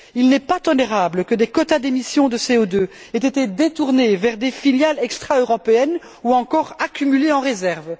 Il n'est pas tolérable que des quotas d'émission de CO2 aient été détournés vers des filiales extra européennes, ou encore accumulés en réserve.